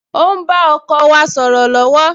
O ń bá ọkọ wa sọ̀rọ̀ lọ́wọ́